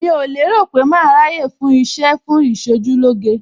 Mi ò lérò pé màá ráyè fún iṣẹ́ fún Ìṣojúlóge.